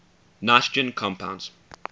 nitrogen compounds